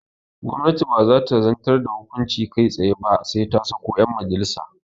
Gwamnati baza ta zantar da hukunci kai tsaye ba sai ta sako yan majalissa